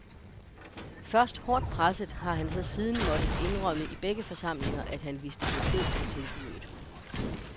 Først hårdt presset har han så siden måtte indrømme i begge forsamlinger, at han vidste besked om tilbuddet.